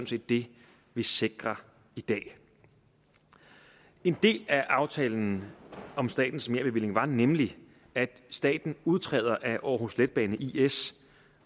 set det vi sikrer i dag en del af aftalen om statens merbevilling var nemlig at staten udtræder af aarhus letbane is